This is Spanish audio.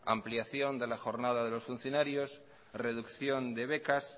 ampliación de la jornada de los funcionarios reducción de becas